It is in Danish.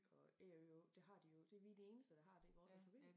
Og Æ og Ø og Å det har de jo ikke det vi de eneste der har det vores alfabet